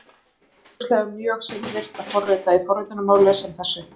Það er augljóslega mjög seinvirkt að forrita í forritunarmáli sem þessu.